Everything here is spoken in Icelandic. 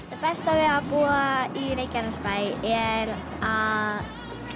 besta við að búa í Reykjanesbæ er að